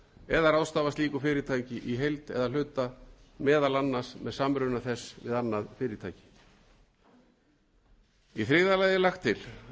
eða ráðstafað slíku fyrirtæki í heild eða að hluta meðal annars með samruna þess við annað fyrirtæki í þriðja lagi er lagt til að